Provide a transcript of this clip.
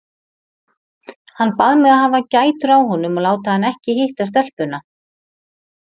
Hann bað mig að hafa gætur á honum og láta hann ekki hitta stelpuna.